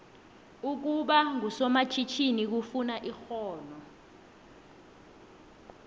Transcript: ukuba ngusomatjhinini kufuna ixhono